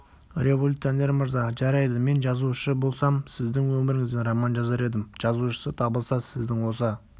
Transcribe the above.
революционер мырза жарайды мен жазушы болсам сіздің өміріңізден роман жазар едім жазушысы табылса сіздің осы